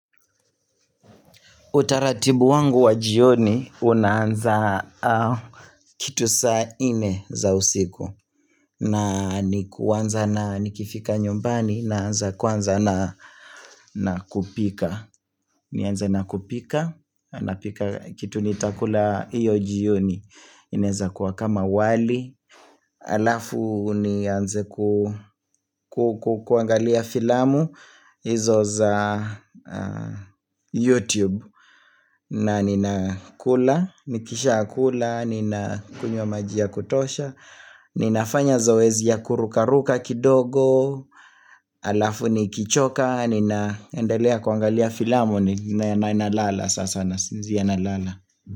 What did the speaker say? Utaratibu wangu wa jioni unaanza kitu saa nne za usiku na ni kwanza na nikifika nyumbani naanza kuwanza na kupika nianze na kupika, napika kitu nitakula hiyo jioni inaweza kuwa kama wali Alafu nianze kuangalia filamu hizo za YouTube na ninakula, nikisha kula, nina kunywa maji ya kutosha Ninafanya zoezi ya kurukaruka kidogo Alafu ni kichoka, ninaendelea kwangalia filamuni na nalala sasa nasinzia nalala.